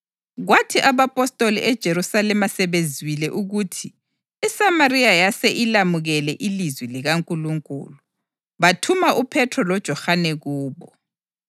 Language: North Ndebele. Kwathi abapostoli eJerusalema sebezwile ukuthi iSamariya yase ilamukele ilizwi likaNkulunkulu, bathuma uPhethro loJohane kubo.